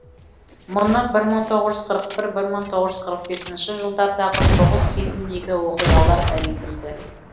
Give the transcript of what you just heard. мұны бір мың тоғыз жүз қырық бір бір мың тоғыз жүз қырық бесінші жылдардағы соғыс кезіндегі оқиғалар дәлелдейді